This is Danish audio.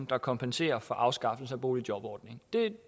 der kompenserer for en afskaffelse af boligjobordningen det